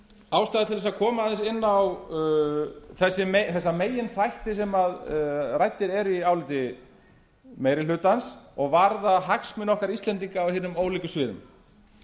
ástæða til að koma aðeins inn á þessa meginþætti sem raktir eru í áliti meiri hlutans og varðar hagsmuni okkar íslendinga á hinum ólíku sviðum